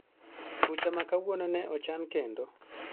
Bucha ma kawuono ne ochan kendo?